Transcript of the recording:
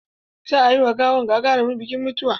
Za a yi ma gawan gagarumin bikin mutuwa.